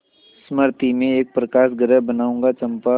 मृति में एक प्रकाशगृह बनाऊंगा चंपा